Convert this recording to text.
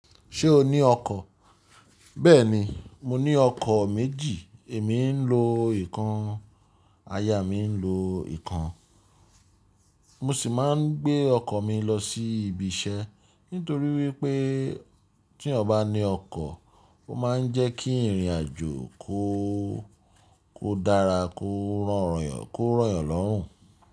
Ṣé o ní ọkọ̀? Bẹ́ẹ̀ni, mo ní ọkọ̀ méjì. Èmi ń lo ìkan, aya mi ń lo ìkan. Mo sì máa ń gbé ọkọ̀ mi lọ sí ibi iṣẹ́ nítorí wípé tí eeyan bá ní ọkọ̀, ó máa ń jẹ́ kí ìrìn àjò kó, kó dára, kó rọ̀yàn, kó rọ̀yàn lọ́rùn.